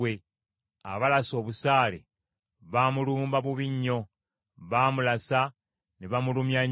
Abalasa obusaale baamulumba bubi nnyo, baamulasa ne bamulumya nnyo;